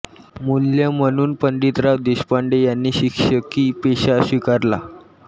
मूल्य म्हणून पंडितराव देशपांडे यांनी शिक्षकी पेशा स्वीकारला